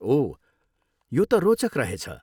ओह, यो त रोचक रहेछ।